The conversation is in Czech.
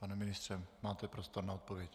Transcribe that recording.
Pane ministře, máte prostor na odpověď.